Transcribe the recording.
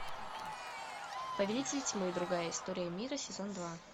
повелитель тьмы другая история мира сезон два